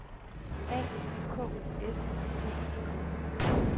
A K U S T I K